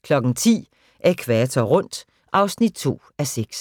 10:00: Ækvator rundt (2:6)